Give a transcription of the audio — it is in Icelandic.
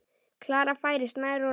Klara færist nær og nær.